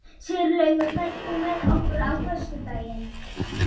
Grankell, einhvern tímann þarf allt að taka enda.